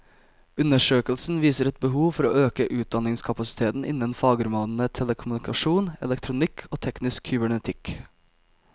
Undersøkelsen viser et behov for å øke utdanningskapasiteten innen fagområdene telekommunikasjon, elektronikk og teknisk kybernetikk.